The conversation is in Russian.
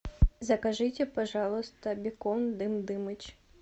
закажите пожалуйста бекон дым дымыч